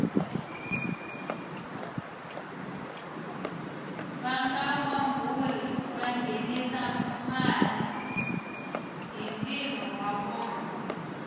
vangawamburi vangenisa male hhintiro wavona